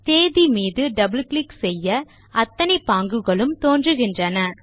தேதி மீது double click செய்ய அத்தனை பாங்குகளும் தோன்றுகின்றன